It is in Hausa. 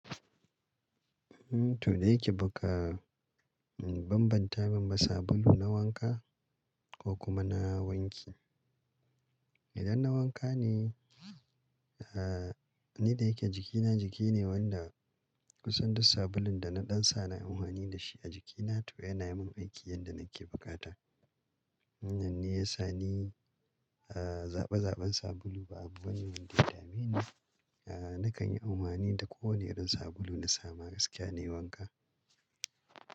To da yake baka banbanta ba sabulu na wanka ko kuma na wanki. Idan na wanka ne, eh ni da yake jikina jiki ne wanda kusan duk sabulun da na ɗan sa na amfani da shi a jikina to yana yi min aiki yadda nake bukata. Nan ne ya sa ni zaɓa zaɓan sabulu ba abu wani wanda ya dame ni. Nakan yi amfani da kowane irin sabulu na samu gaskiya ne wanka.